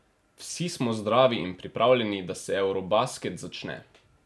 Vsi smo zdravi in pripravljeni, da se eurobasket začne.